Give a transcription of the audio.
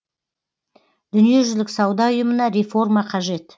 дүниежүзілік сауда ұйымына реформа қажет